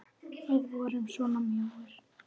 Við vorum svona mjóir!